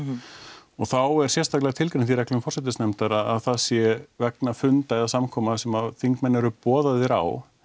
og þá er sérstaklega tilgreint í reglum forsætisnefndar að það sé vegna funda eða samkoma sem þingmenn eru boðaðir á